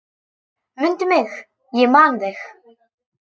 Mundu mig, ég man þig.